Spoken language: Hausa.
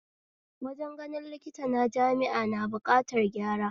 Wajen ganin likita na jami'a na buƙatan gyara